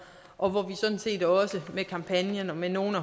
og vi skal sådan set også med kampagnen og med nogle af